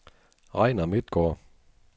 Regnar Midtgaard